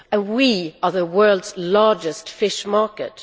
we are the world's largest fish market.